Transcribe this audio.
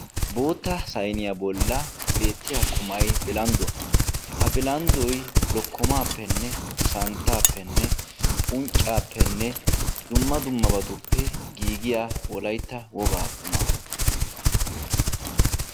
Bootta saynniyaa bolla beettiya qummay bilandduwaa ha billandoy lokomappene santtappene unccappenne dumma dummabattuppe giigiyaa wolaytta woggaa qumma.